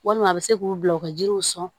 Walima a bɛ se k'u bila u ka jiriw sɔn